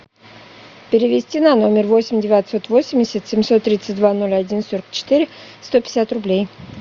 перевести на номер восемь девятьсот восемьдесят семьсот тридцать два ноль один сорок четыре сто пятьдесят рублей